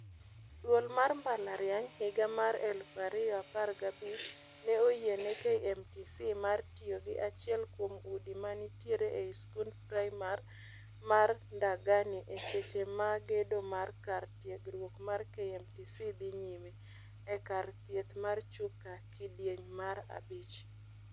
Duol mar mbalariany, higa mar eluf ariyo apar ga abich, ne oyie ne KMTC mar tiyo gi achiel kuom udi manitiere ei skund primar mar Ndagani e seche ma gedo mar kar tiegruog mar KMTC dhi nyime e kar thieth mar Chuka kidieny mar abich.